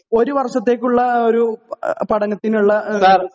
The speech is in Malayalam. ഒരു വർഷത്തേക്കുള്ള ഒരു പടനത്തിനുള്ള